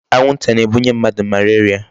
Anwụnta na-ebunye mmadụ malaria.